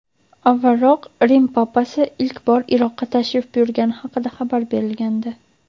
avvalroq Rim Papasi ilk bor Iroqqa tashrif buyurgani haqida xabar berilgandi.